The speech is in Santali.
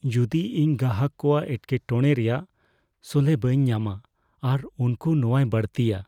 ᱡᱚᱫᱤ ᱤᱧ ᱜᱟᱦᱟᱠ ᱠᱚᱣᱟᱜ ᱮᱴᱠᱮᱴᱚᱬᱮ ᱨᱮᱭᱟᱜ ᱥᱚᱞᱦᱮ ᱵᱟᱹᱧ ᱧᱟᱢᱟ ᱟᱨ ᱩᱱᱠᱩ ᱱᱚᱣᱟᱭ ᱵᱟᱹᱲᱛᱤᱭᱟ?